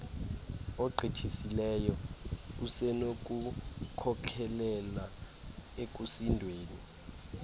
ogqithisileyo usenokukhokelela ekusindweni